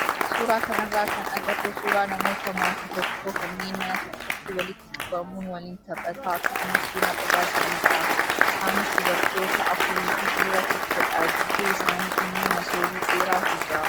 Suuraa kanarraa kan agarru suuraa namoota maatii tokkoo kanneen mana tokkotti walitti qabamuun waliin taphataa akkasumas buna dhugaa jiranidha. Isaanis dubartoota afurii fi dhiira tokkodha. Gidduu isaanii immoo masoobii dheeraatu jira.